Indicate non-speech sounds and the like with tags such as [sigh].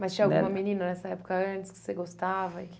[unintelligible] Mas tinha alguma menina nessa época antes que você gostava e que...